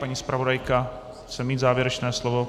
Paní zpravodajka chce mít závěrečné slovo.